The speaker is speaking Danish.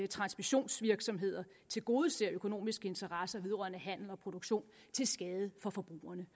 transmissionsvirksomheder tilgodeser økonomiske interesser vedrørende handel og produktion til skade for forbrugerne